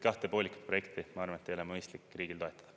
Kahte poolikut projekti, ma arvan, ei ole mõistlik riigil toetada.